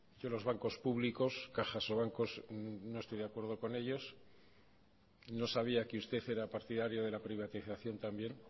que los bancos públicos cajas o bancos no estoy de acuerdo con ellos no sabía que usted era partidario de la privatización también